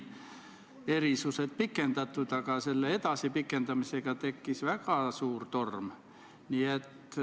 Tõenäoliselt peavad raudteeveofirmad järk-järgult sellele üle minema.